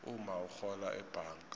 umma urhola ebhanga